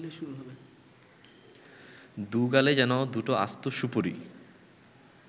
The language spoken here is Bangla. দু’গালে যেন দুটো আস্ত সুপুরি